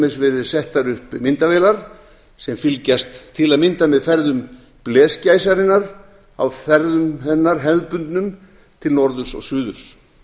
dæmis verið settar upp myndavélar sem fylgjast til að mynda með ferðum blesgæsarinnar á hefðbundnum ferðum hennar til norðurs og suðurs